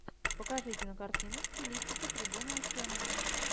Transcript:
покажи кинокартину в стилистике трибуна ученого